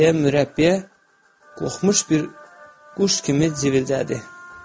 Deyə mürəbbiyə qorxmuş bir quş kimi civildədi.